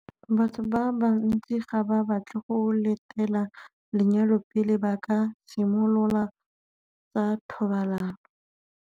Batho ba bantsi ga ba batle go letela lenyalo pele ba ka simolola tsa thobalano.